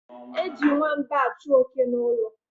Eji nwamba achụ oke n' ụlọ.